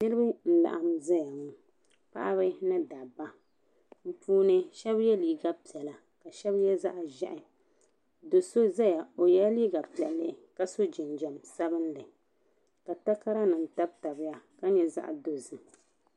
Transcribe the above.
Nirib n laɣim zaya ŋɔ paɣib ni dabba bi puuni shɛba yiɛ liiga piɛlla ka ahɛb yiɛ zaɣi ʒehi do so zaya o yiɛ la liiga piɛlli ka so jinjam sabinli ka takara nim tabi ya ka yɛ zaɣi dozim.